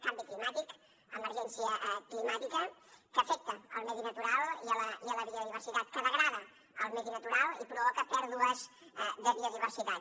canvi climàtic emergència climàtica que afecta el medi natural i la biodiversitat que degrada el medi natural i provoca pèrdues de biodiversitat